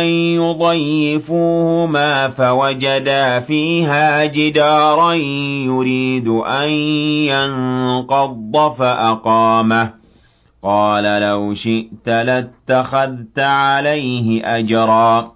أَن يُضَيِّفُوهُمَا فَوَجَدَا فِيهَا جِدَارًا يُرِيدُ أَن يَنقَضَّ فَأَقَامَهُ ۖ قَالَ لَوْ شِئْتَ لَاتَّخَذْتَ عَلَيْهِ أَجْرًا